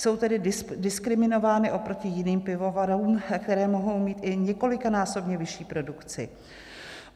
Jsou tedy diskriminovány oproti jiným pivovarům, které mohou mít i několikanásobně vyšší produkci.